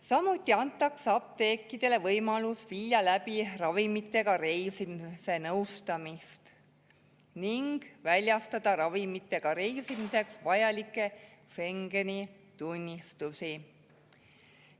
Samuti antakse apteekidele võimalus viia läbi ravimitega reisimise nõustamist ning väljastada ravimitega reisimiseks vajalikke Schengeni tunnistusi.